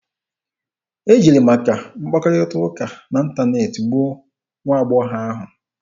E jiri maka mkpakọrịta n'ịntaneetị gbuo nwa agbọghọ ahụ.